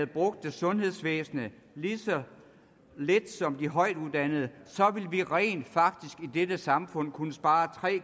brugte sundhedsvæsenet lige så lidt som de højtuddannede ville vi rent faktisk i dette samfund kunne spare tre